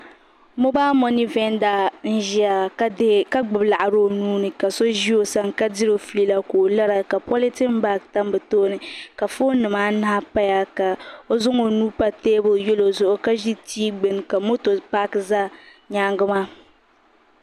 Dabba n gbiri salma bi siɣila bayaɣati ni n toori na ti tiri bi taba ban ʒɛn ʒɛya bi luɣuli bi toori la bayaɣati maa niŋda tahapɔŋ bihi ni bi shaba pili la zipiliti ka bi shaba mi bi pili.